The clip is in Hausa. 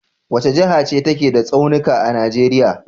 Wace jaha ce take da tsaunika a Nijeriya?